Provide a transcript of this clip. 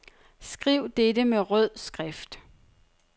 Skriv dette med rød skrift.